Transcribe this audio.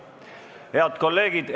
Head kolleegid!